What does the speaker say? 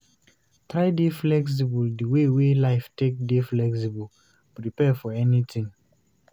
Try dey flexible di wey wey life take dey flexible, prepare for anything